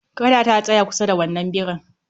Kada ka tsaya kusa da wannan birin